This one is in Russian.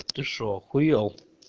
ты что охуел